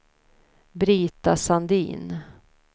Brita Sandin